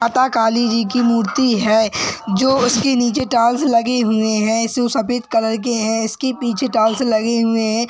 माता काली जी की मूर्ति है जो उसके निचे टाइल्स लगे हुए है सो सफ़ेद कलर के है| इसके पीछे टाइल्स लगे हुए है।